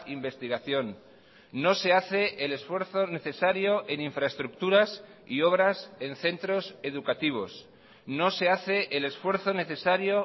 investigación no se hace el esfuerzo necesario en infraestructuras y obras en centros educativos no se hace el esfuerzo necesario